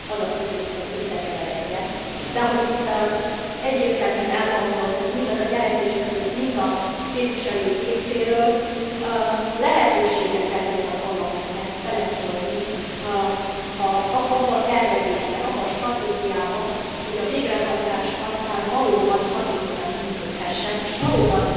Nem az a célunk, hogy ez összekeveredjen, de ahogy itt egyértelműen elhangzott mind a jelentéstevők, mind a képviselők részéről, lehetősége kell legyen a Parlamentnek beleszólni abba a tervezésbe, abba a stratégiába, hogy a végrehajtás aztán valóban hatékonyan működhessen, és valóban